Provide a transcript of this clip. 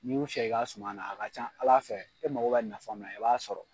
N'u y'u fiyɛ i ka suma na a ka can Ala fɛ e mago bɛ nafa min i b'a sɔrɔ.